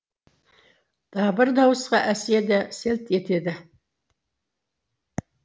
дабыр дауысқа әсия да селт етеді